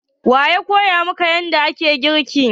Wa ya koya maka yanda ake girki?